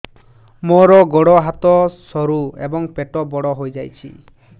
ମୋର ଗୋଡ ହାତ ସରୁ ଏବଂ ପେଟ ବଡ଼ ହୋଇଯାଇଛି